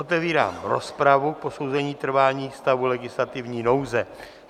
Otevírám rozpravu k posouzení trvání stavu legislativní nouze.